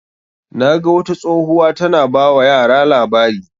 Na ga wata tsohuwa ta na ba wa yara labari.